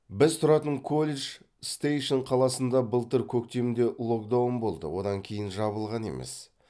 біз тұратын колледж стейшен қаласында былтыр көктемде локдаун болды одан кейін жабылған емес